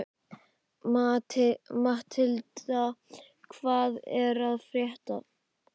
Matthilda, hvað er að frétta?